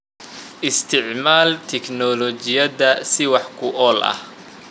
Isticmaal tignoolajiyada si wax ku ool ah.